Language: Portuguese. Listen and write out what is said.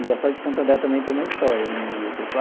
Engraçado que Santo André também tem uma história na minha vida.